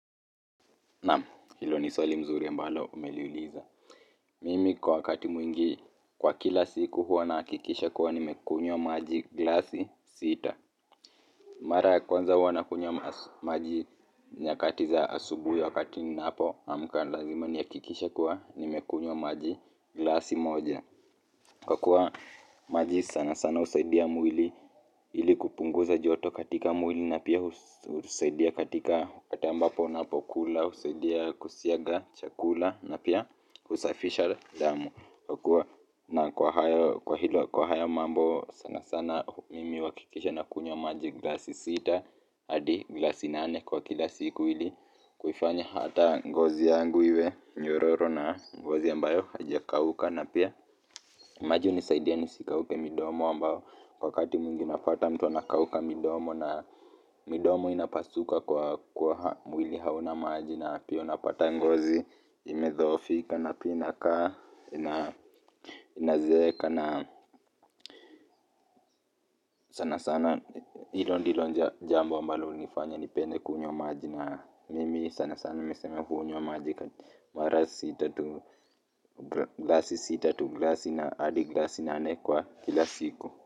Naam, hilo ni swali mzuri ambalo umeliuliza. Mimi kwa wakati mwingi kwa kila siku huwa nahakikisha kuwa nimekunywa maji glasi sita. Mara ya kwanza huwa na kunywa maji nyakati za asubuhi wakati ninapoamka lazima nihakikishe kuwa nimekunywa maji glasi moja. Kwa kuwa maji sana sana husaidia mwili ili kupunguza joto katika mwili, na pia husaidia katika wakati ambapo unapokula husaidia kusiaga chakula na pia kusafisha damu na kwa hilo kwa hiyo mambo sana sana mimi huakikisha nakunywa maji glasi sita hadi glasi nane kwa kila siku ili kuifanya hata ngozi yangu iwe nyororo na ngozi ambayo haija kauka na pia maji husaidia nisikauke midomo ambayo wakati mwingi unapata mtu anakauka midomo na midomo inapasauka kwa kuwa mwili hauna maji na pia unapata ngozi imedhoofika na pia inakaa inazeeka na sana sana hilpo ndilo jambo ambalo hunifanya nipende kunywa maji na mimi sana sana niseme hunywa maji mara sita tu glasi sita tu glasi na adi glasi nane kwa kila siku.